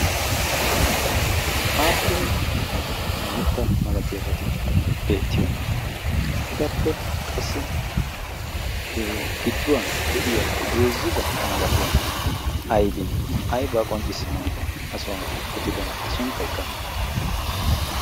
aappu mitta malatiyaabati beettiyoona etappe qassi gidduwan de'iya heezzubaa malatiyaageeti aybee aybaa qonccissanawu ha suwan uttidona eta sunttaykka aybee